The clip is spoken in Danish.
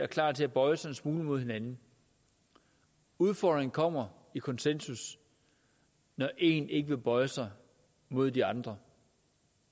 klar til at bøje sig en smule mod hinanden udfordringen kommer i konsensus når én ikke vil bøje sig mod de andre